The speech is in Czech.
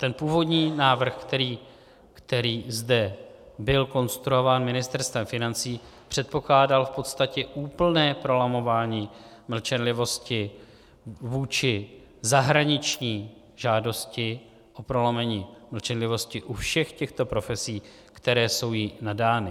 Ten původní návrh, který zde byl konstruován Ministerstvem financí, předpokládal v podstatě úplné prolamování mlčenlivosti vůči zahraniční žádosti o prolomení mlčenlivosti u všech těchto profesí, které jsou jí nadány.